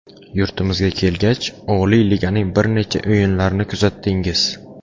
Yurtimizga kelgach, oliy liganing bir necha o‘yinlarni kuzatdingiz.